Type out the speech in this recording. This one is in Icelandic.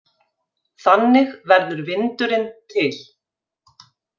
Þannig verður vindurinn til.